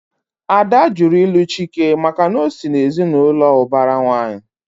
Ada jụrụ ilu Chike maka na ọ sị na ezinaụlọ ubara nwanyi